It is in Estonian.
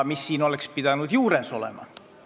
Siin oleks pidanud üht-teist juures olema.